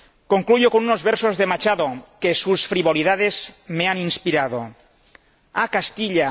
Concluyo con unos versos de Machado que sus frivolidades me han inspirado Castilla